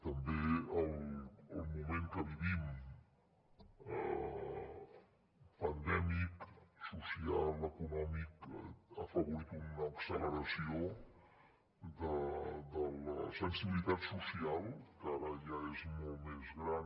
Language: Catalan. també el moment que vivim pandèmic social econòmic ha afavorit una acceleració de la sensibilitat social que ara ja és molt més gran